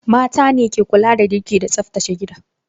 Mata ne ke kula da girki da tsaftace gida.